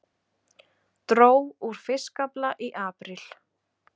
Dró úr fiskafla í apríl